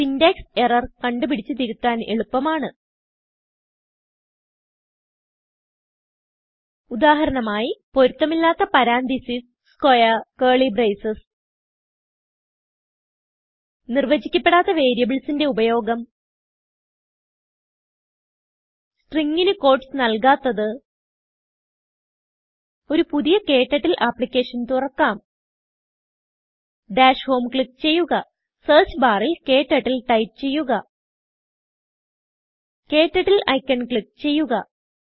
syntax errorകണ്ടു പിടിച്ച് തിരുത്താൻ എളുപ്പമാണ് ഉദാഹരണം ആയി പൊരുത്തമില്ലാത്ത പരന്തീസസ് squarecurly ബ്രേസസ് നിർവചിക്കപെടാത്ത വേരിയബിൾസിന്റെ ഉപയോഗം സ്ട്രിംഗ് ന് ക്യൂട്ടീസ് നല്കാത്തത് ഒരു പുതിയ ക്ടർട്ടിൽ ആപ്ലിക്കേഷൻ തുറക്കാം ഡാഷ് homeക്ലിക്ക് ചെയ്യുക സെർച്ച് ബാറിൽ KTurtleടൈപ്പ് ചെയ്യുക KTurtleഐക്കൺ ക്ലിക്ക് ചെയ്യുക